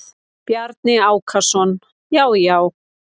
Bjarni Ákason: Já já.